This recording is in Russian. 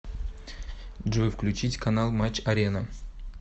джой включить канал матч арена